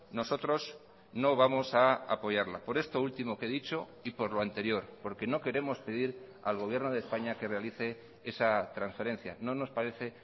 nosotros no vamos a apoyarla por esto último que he dicho y por lo anterior porque no queremos pedir al gobierno de españa que realice esa transferencia no nos parece